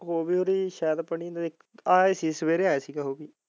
ਹੋ ਗਈ ਹੋਣੀ ਸ਼ਾਇਦ ਪਣੀ ਦੀ ਆਏ ਸੀ ਸਵੇਰੇ ਆਏ ਸੀ ਸਵੇਰੇ।